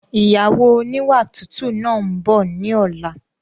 Ìyàwó oníwà tútù náà ń bọ̀ ni ọ̀la